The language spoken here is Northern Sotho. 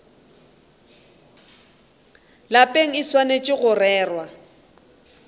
lapeng e swanetše go rerwa